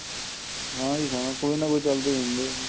ਹਾਂ ਜੀ ਹਾਂ ਕੋਈ ਨਾ ਕੋਈ ਚੱਲਦੀ ਹੁੰਦੀ ਏ ਜੀ